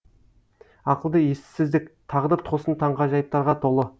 ақылды ессіздік тағдыр тосын таңғажайыптарға толы